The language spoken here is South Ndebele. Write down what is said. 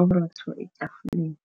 uburotho etafuleni.